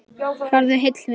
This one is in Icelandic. Farðu heill, vinur.